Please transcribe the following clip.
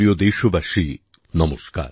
আমার প্রিয় দেশবাসী নমস্কার